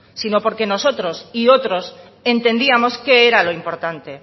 sino porque nosotros y otros entendíamos qué era lo importante